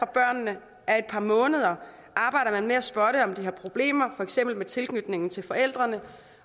børnene er et par måneder arbejder man med at spotte om de har problemer for eksempel med tilknytningen til forældrene